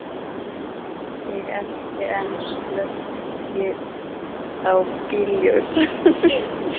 Ég elti en slökkti á bílljósunum.